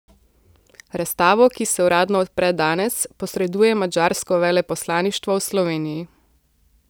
Razstavo, ki se uradno odpre danes, posreduje madžarsko veleposlaništvo v Sloveniji.